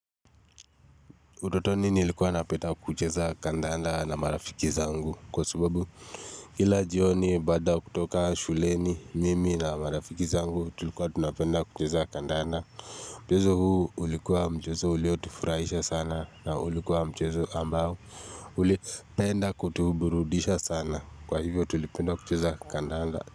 Utotoni nilikuwa napenda kucheza kandanda na marafiki zangu kwa subabu kila jioni baada kutoka shuleni mimi na marafiki zangu tulikuwa tunapenda kucheza kandanda Mchezo huu ulikuwa mchezo uliotifurahisha sana na ulikuwa mchezo ambao ulipenda kutuburudisha sana kwa hivyo tulipenda kucheza kandanda.